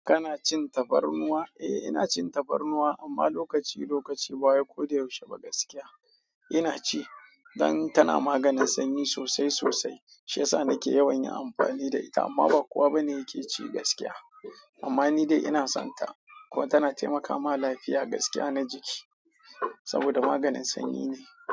Kana cin tafarnuwa? Eh ina cin tafarnuwa amma lokaci lokaci ba wai ko da yaushe gaskiya. Ina ci dan tana maganin sanyi sosai sosai. Shi yasa na ke yawan amfani da ita amma ba kowa bane yake ci gaskiya. Amma ni dai ina son ta kuma tana taimaka ma lafiya gaskiya na jiki saboda maganin sanyi ne.